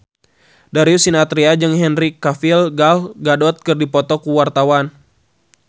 Darius Sinathrya jeung Henry Cavill Gal Gadot keur dipoto ku wartawan